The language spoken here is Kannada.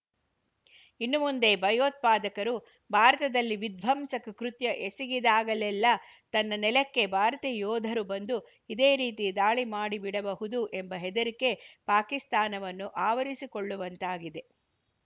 ಇನ್ನು ಮುಂದೆ ಭಯೋತ್ಪಾದಕರು ಭಾರತದಲ್ಲಿ ವಿಧ್ವಂಸಕ ಕೃತ್ಯ ಎಸಗಿದಾಗಲೆಲ್ಲಾ ತನ್ನ ನೆಲಕ್ಕೆ ಭಾರತೀಯ ಯೋಧರು ಬಂದು ಇದೇ ರೀತಿ ದಾಳಿ ಮಾಡಿಬಿಡಬಹುದು ಎಂಬ ಹೆದರಿಕೆ ಪಾಕಿಸ್ತಾನವನ್ನು ಆವರಿಸಿಕೊಳ್ಳುವಂತಾಗಿದೆ